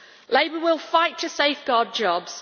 Labour will fight to safeguard jobs.